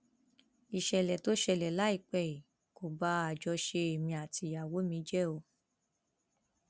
ìṣẹlẹ tó ṣẹlẹ láìpẹ yìí kò ba àjọṣe èmi àtìyàwó mi jẹ o